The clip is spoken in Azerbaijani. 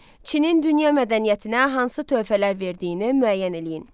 Çinin dünya mədəniyyətinə hansı töhfələr verdiyini müəyyən eləyin.